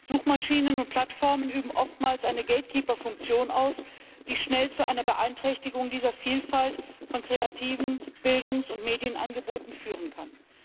Suchmaschinen und Plattformen üben oftmals eine Gatekeeper Funktion aus, die schnell zu einer Beeinträchtigung dieser Vielfalt von kreativen Bildungs und Medienangeboten führen kann.